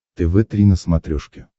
тв три на смотрешке